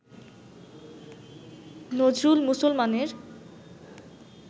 নজরুল মুসলমানের